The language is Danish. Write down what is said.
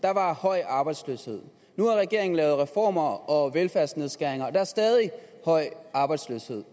der var høj arbejdsløshed nu har regeringen lavet reformer og velfærdsnedskæringer og der er stadig høj arbejdsløshed